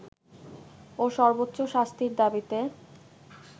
ও সর্বোচ্চ শাস্তির দাবিতে